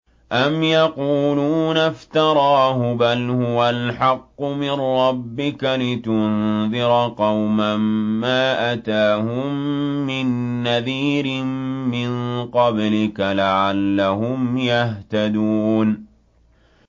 أَمْ يَقُولُونَ افْتَرَاهُ ۚ بَلْ هُوَ الْحَقُّ مِن رَّبِّكَ لِتُنذِرَ قَوْمًا مَّا أَتَاهُم مِّن نَّذِيرٍ مِّن قَبْلِكَ لَعَلَّهُمْ يَهْتَدُونَ